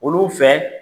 Olu fɛ